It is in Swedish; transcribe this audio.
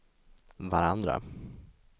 varandra